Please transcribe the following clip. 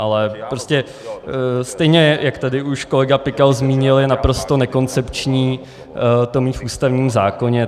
Ale prostě stejně jak tady už kolega Pikal zmínil, je naprosto nekoncepční to mít v ústavním zákoně.